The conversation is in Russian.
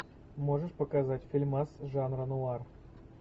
можешь показать фильмас жанра нуар